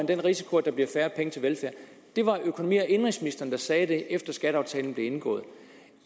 den risiko at der bliver færre penge til velfærd det var økonomi og indenrigsministeren der sagde det efter skatteaftalen blev indgået